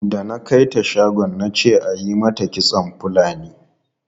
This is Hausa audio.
Da na kai ta shagon na ce ayi mata kitson Fulani.